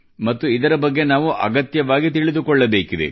ಮತ್ತು ಇದರ ಬಗ್ಗೆ ನಾವು ಅಗತ್ಯವಾಗಿ ತಿಳಿದುಕೊಳ್ಳಬೇಕಿದೆ